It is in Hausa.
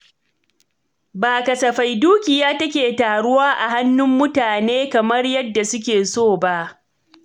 Ba kasafai dukiya take taruwa a hannun mutane, kamar yadda suke so ba.